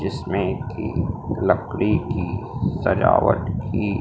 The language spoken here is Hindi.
जिसमें की लकड़ी की सजावट की--